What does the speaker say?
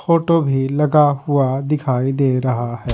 Photo भी लगा हुआ दिखाई दे रहा हैं।